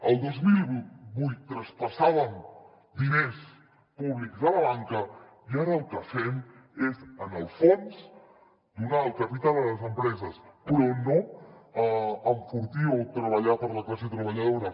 el dos mil vuit traspassàvem diners públics a la banca i ara el que fem és en el fons donar el capital a les empreses però no enfortir o treballar per a la classe treballadora